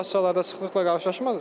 Kassalarda sıxlıqla qarşılaşmadınız?